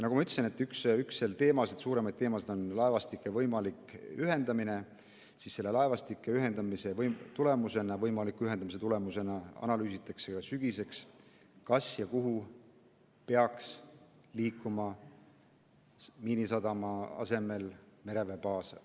Nagu ma ütlesin, üks suuremaid teemasid on laevastike võimalik ühendamine ja selle võimaliku ühendamise tulemusi analüüsitakse sügiseks, kas ja kuhu peaks Miinisadama asemel mereväebaas liikuma.